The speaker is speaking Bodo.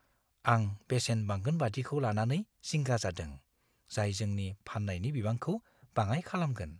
आं बेसेन बांगोनबादिखौ लानानै जिंगा जादों, जाय जोंनि फाननायनि बिबांखौ बाङाइ खालामगोन।